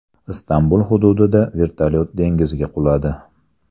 Istanbul hududida vertolyot dengizga quladi.